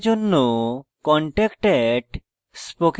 বিস্তারিত তথ্যের জন্য